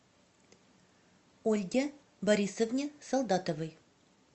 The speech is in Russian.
ольге борисовне солдатовой